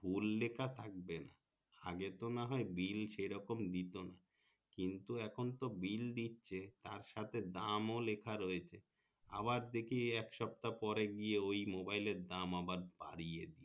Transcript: ভুল লেখা থাকবে না আগে তো না হয় bill সে রকম দিতো না কিন্তু এখন তো bill দিচ্ছে তার সাথে দাম ও লিখা রয়েছে আবার দেখি এক সপ্তহা পরে গিয়ে ওই মোবাইলের দাম আবার বাড়িয়ে দিয়েছে